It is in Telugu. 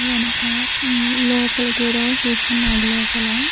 వెనుక ఉ లోపలికి కేదో చూస్తున్నాడు లోపల.